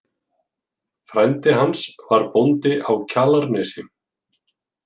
Frændi hans var bóndi á Kjalarnesi.